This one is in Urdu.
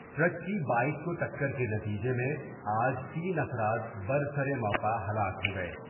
ٹرک کی بائیک کوٹکر کے نتیجہ میں آج تین افراد بر سر موقع ہلاک ہو گئے ۔